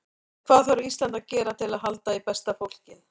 En hvað þarf Ísland að gera til að halda í besta fólkið?